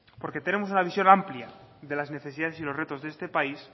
porque tenemos una visión amplia de las necesidades y los retos de este país